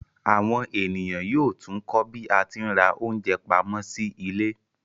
Àwọn ènìyàn yóò tún kọ́ bí a tí ń ra oúnjẹ pamọ́ sí ilé